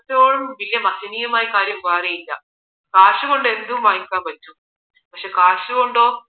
ഏറ്റവും വലിയ മഹനീയമായ കാര്യം വേറെ ഇല്ല കാശ് കൊണ്ട് എന്നതും വാങ്ങിക്കാൻ പറ്റും പക്ഷേ കാശ് കൊണ്ടോ